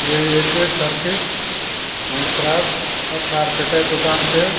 यो एक Turkish handcraft और कार्पेटे दुकान च।